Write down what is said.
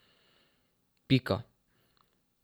Pika.